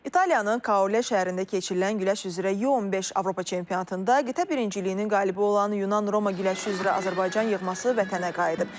İtaliyanın Kaole şəhərində keçirilən güləş üzrə YU-15 Avropa çempionatında qitə birinciliyinin qalibi olan Yunan Roma güləşi üzrə Azərbaycan yığması vətənə qayıdıb.